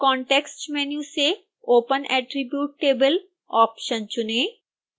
context menu से open attribute table option चुनें